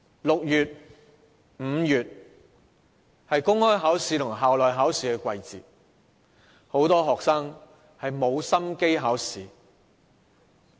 5月和6月是公開考試和校內考試的季節，很多學生沒有心機考試。